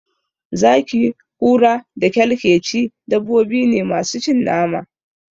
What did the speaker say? Zaki, Kura da kyalkyeci dabbobine masu cin nama.